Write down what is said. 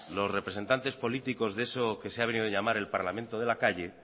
los representantes políticos de eso que se ha venido en llamar el parlamento de la calle